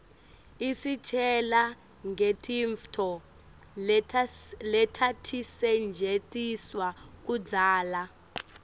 isitjela ngetintfo letatisetjentiswa kudzala